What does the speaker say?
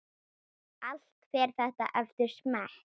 Allt fer þetta eftir smekk.